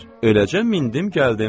Öləcəm mindim gəldim.